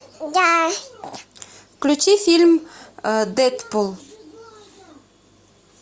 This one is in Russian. включи фильм дедпул